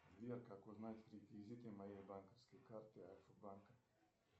сбер как узнать реквизиты моей банковской карты альфа банк